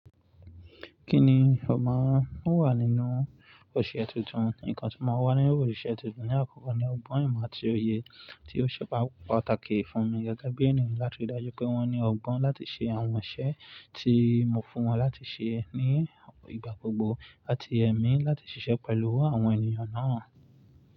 Kí ni ó máa ń wà nínú òṣẹ́ tuntun? Nǹkan tí ó máa wà nínú òṣẹ́ tuntun ní àkókò náà ni ọgbọ́n ìmọ̀ àti òye tí ó ṣe pàtàkì fún mi gẹ́gẹ́ bí ènìyàn láti rí i dájú pé wọ́n ní ọgbọ́n láti ṣe àwọn iṣẹ́ tí mo fún wọn láti ṣe ní ìgbà gbogbo àti ẹ̀mí láti ṣiṣẹ́ pẹ̀lú àwọn ènìyàn náà.